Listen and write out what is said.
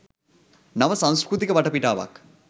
නව සංස්කෘතික වටපිටාවක්